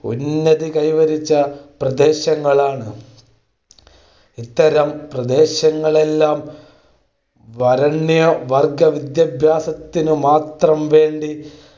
ഉന്നതി കൈവരിച്ച പ്രദേശങ്ങളാണ്. ഇത്തരം പ്രദേശങ്ങളെല്ലാം വരേണ്യവർഗ്ഗവിദ്യാഭ്യാസത്തിനുമാത്രം വേണ്ടി